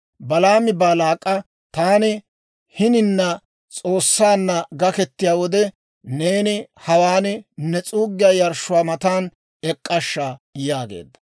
Balaami Baalaak'a, «Taani hinina S'oossaanna gaketiyaa wode, neeni hawaan ne s'uuggiyaa yarshshuwaa matan ek'k'ashsha» yaageedda.